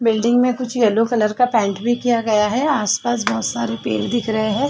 Building में कुछ yellow colour का पैंट भी किया गया है आस-पास बहुत सारे पेड़ दिख रहे हैं।